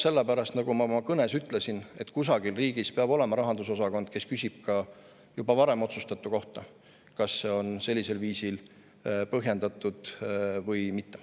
Selle pärast, et kusagil peab riigis olema, nagu ma ka oma kõnes ütlesin, rahandusosakond, kes küsib ka juba varem otsustatu kohta, kas see on sellisel viisil põhjendatud või mitte.